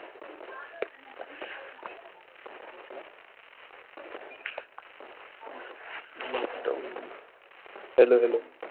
lockdown hello hello?